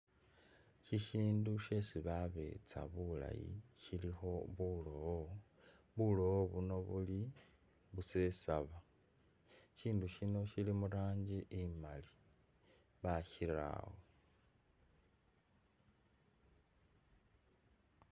Shisindu shesi babetsa bulayi shilikho bulowo, bulowo buno buli busesaba ,ishindu shino shili mu ranji imali bashi'rawo